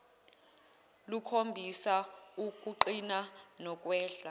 lukhombisa ukuqina nokwehla